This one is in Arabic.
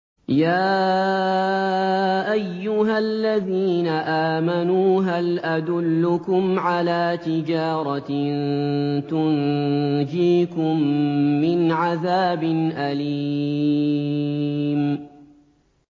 يَا أَيُّهَا الَّذِينَ آمَنُوا هَلْ أَدُلُّكُمْ عَلَىٰ تِجَارَةٍ تُنجِيكُم مِّنْ عَذَابٍ أَلِيمٍ